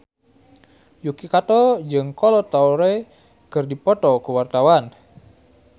Yuki Kato jeung Kolo Taure keur dipoto ku wartawan